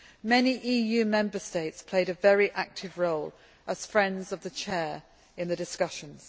Many EU Member States played a very active role as Friends of the Chair in the discussions.